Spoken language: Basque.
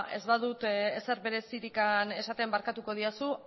eta ez badut ezer berezirik esaten barkatuko didazu